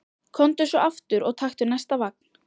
Komdu svo aftur og taktu næsta vagn.